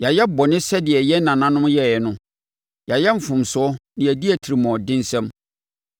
Yɛayɛ bɔne sɛdeɛ yɛn nananom yɛeɛ no; yɛayɛ mfomsoɔ na yɛadi atirimuɔdensɛm.